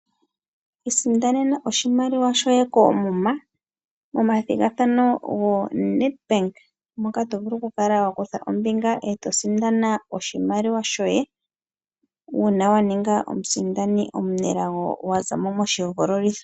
Isindanena oshimaliwa shoye koomuma momathigathano go Netbank moka tovulu kukala wakutha ombinga eto sindana oshimaliwa shoye uuna waninga omusindani omunelago waza mo moshihogololitho.